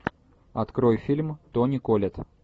открой фильм тони коллетт